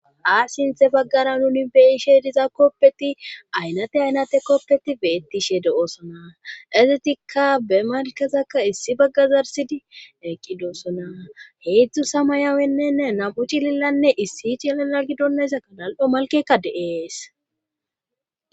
Hachchi baggara nuni be'ishshe diza koopeti aynate aynate kooppeti beettishe de'oosona ezitikka be malkezakka issi baggazarsidi eqqidoosona heedzdzu samayawenne nam'u cililanne issi i cilila gidonayssa kalal'o malkekka de'ees